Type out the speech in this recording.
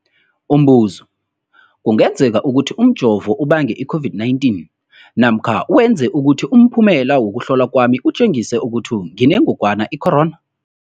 Umbuzo, kungenzekana ukuthi umjovo ubange i-COVID-19 namkha wenze ukuthi umphumela wokuhlolwa kwami utjengise ukuthi nginengogwana i-corona?